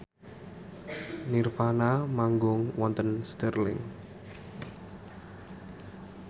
nirvana manggung wonten Stirling